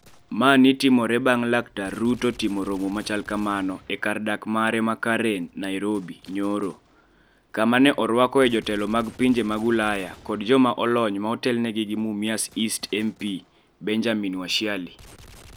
Mani timore bang' Dr Ruto timo romo machal kamano e kar dak mare ma Karen, Nairobi, nyoro, kama ne orwakoe jotelo mag pinje mag Ulaya kod joma olony ma otelnegi gi Mumias East MP Benjamin Washiali.